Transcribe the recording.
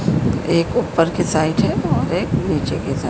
एक ऊपर के साइड है और एक नीचे के सा--